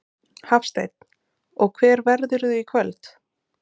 Hafsteinn: Og hver verðurðu í kvöld?